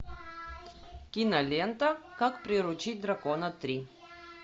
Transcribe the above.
кинолента как приручить дракона три